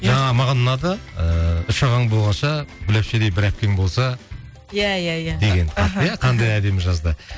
жаңа маған ұнады ыыы үш ағаң болғанша гүл апшедей бір әпкең болса иә иә иә деген аха иә қандай әдемі жазды